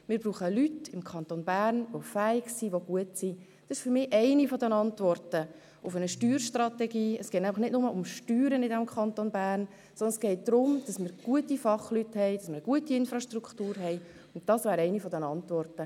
Ich finde, einerseits verschieben wir einfach Geld zu den Gemeinden, nämlich Geld, welches bisher der Kanton Bern